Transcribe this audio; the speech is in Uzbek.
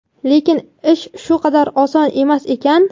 lekin ish u qadar oson emas ekan.